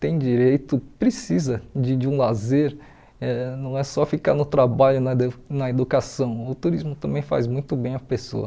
tem direito, precisa de de um lazer, eh não é só ficar no trabalho, na du na educação, o turismo também faz muito bem a pessoa.